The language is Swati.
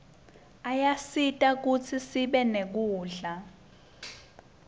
ayasisita kutsi sibe nekudla